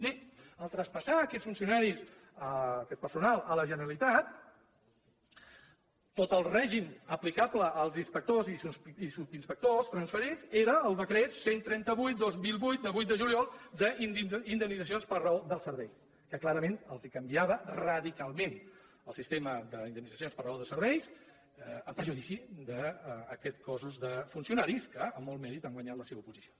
bé al traspassar aquests funcionaris aquest personal a la generalitat tot el règim aplicable als inspectors i subinspectors transferits era el decret cent i trenta vuit dos mil vuit de vuit de juliol d’indemnitzacions per raó del servei que clarament els canviava radicalment el sistema d’indemnitzacions per raó de serveis en perjudici d’aquest cos de funcionaris que amb molt mèrit han guanyat la seva oposició